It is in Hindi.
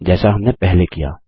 जैसा हमने पहले किया